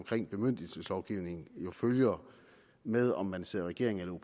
bemyndigelseslovgivningen jo følger med om man sidder i regering eller